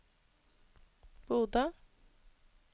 Bodø